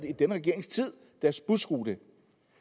i denne regeringstid får deres busrute